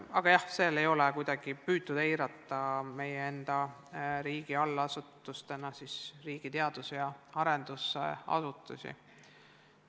Aga seal ei ole kuidagi püütud eirata meie riigi allasutustena teadus- ja arendusasutusi.